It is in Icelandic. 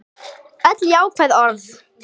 Öll jákvæð orð.